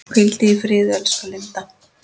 Hvíldu í friði elsku Linda.